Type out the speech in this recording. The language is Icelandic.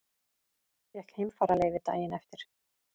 Fékk heimfararleyfi daginn eftir.